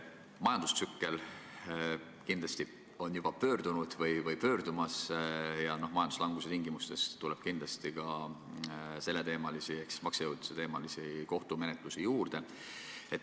Majandustsükkel on juba pöördunud või pöördumas ja majanduslanguse tingimustes tuleb kindlasti ka maksejõuetuse kohtumenetlusi juurde.